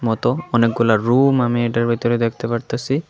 মতো অনেকগুলা রুম আমি এটার ভিতরে দেখতে পারতাসি।